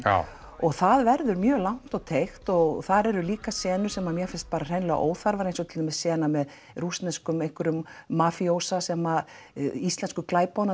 og það verður mjög langt og teygt og þar eru líka senur sem mér finnst hreinlega óþarfar eins og sena með rússneskum einhverjum mafíósa sem íslensku